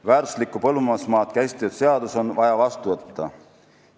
Väärtuslikku põllumajandusmaad käsitlev seadus on vaja vastu võtta.